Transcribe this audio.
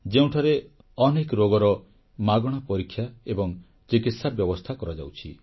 ଯେଉଁଠାରେ ଅନେକ ରୋଗର ମାଗଣା ପରୀକ୍ଷା ଏବଂ ଚିକିତ୍ସା ବ୍ୟବସ୍ଥା କରାଯାଉଛି